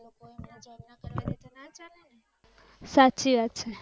સાચી વાત છે.